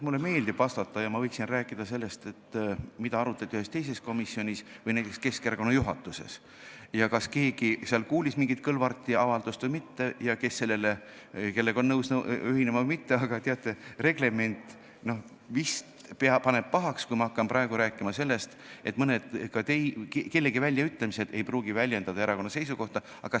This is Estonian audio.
Mulle meeldib vastata ja ma võiksin rääkida sellest, mida arutati ühes teises komisjonis või näiteks Keskerakonna juhatuses, ja sellest, kas seal keegi kuulis mingit Kõlvarti avaldust või mitte ja kas sellega oldi nõus ühinema või mitte, aga teate, reglement vist paneb pahaks, kui ma hakkan praegu rääkima sellest, et kellegi mõned väljaütlemised ei pruugi väljendada erakonna seisukohta.